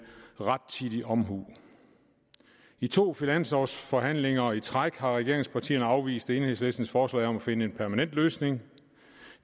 rettidig omhu i to finanslovsforhandlinger i træk har regeringspartierne afvist enhedslistens forslag om at finde en permanent løsning